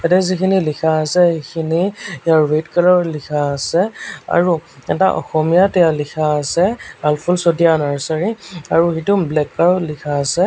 ইয়াতে যিখিনি লিখা আছে সেইখিনি ৰেড কালাৰ ত লিখা আছে আৰু এটা অসমীয়াত এয়া লিখা আছে আলফুল চতিয়া নাৰ্ছাৰী আৰু সেইটো ব্লেক কালাৰ ত লিখা আছে।